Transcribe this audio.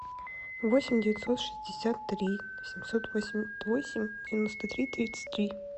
восемь девятьсот шестьдесят три восемьсот восемьдесят восемь девяносто три тридцать три